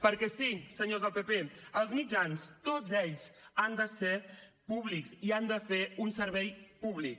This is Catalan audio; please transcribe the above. perquè sí senyors del pp els mitjans tots ells han de ser públics i han de fer un servei públic